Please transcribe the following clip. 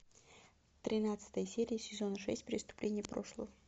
тринадцатая серия сезона шесть преступления прошлого